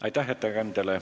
Aitäh ettekandjale!